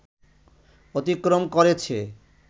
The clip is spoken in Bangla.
অতিক্রম করেছে